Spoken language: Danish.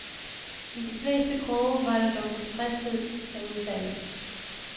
I de fleste kroge var der dog tilfredshed med udfaldet.